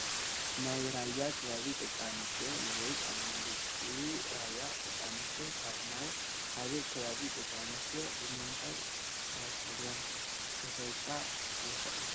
ናይ ራያ ከባቢ ደቂ ኣንስትዮ ንርኢ ኣለና፡፡ ደቂ ራያ ደቂ ኣንስትዮ ካብ ናይ ካልእ ከባቢ ደቂ ኣንስትዮ ብምንታይ ተፈልየን ክፍለጣ ይኽእላ?